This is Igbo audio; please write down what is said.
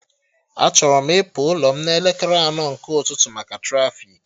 Achọrọ m ịpụ ụlọ m n'elekere anọ nke ụtụtụ maka trafiki